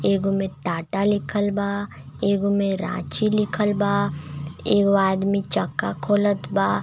एगो में टाटा लिखल बा एगो में रांची लीखल बा एगो आदमी चक्का खोलत बा.